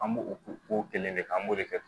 An b'o o kelen de kɛ an b'o de kɛ